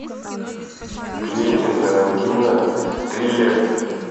квентин тарантино триллер